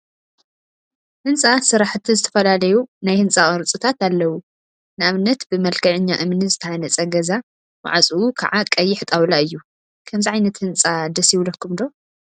ህንፃ ስራሕቲ ዝተፈላለዩ ናይ ህንፃ ቅርፂታት አለው፡፡ ንአብነት ብመልክዐኛ እምኒ ዝተሃነፃ ገዛ ማዕፅኡ ከዓ ቀይሕ ጣውላ እዩ፡፡ ከምዚ ዓይነት ህንፃ ደስ ይብለኩም ዶ?